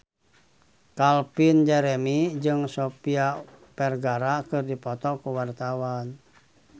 Calvin Jeremy jeung Sofia Vergara keur dipoto ku wartawan